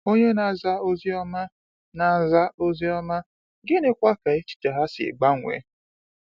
Ònye na-aza Ozi Ọma, na-aza Ozi Ọma, gịnịkwa ka echiche ha si gbanwee?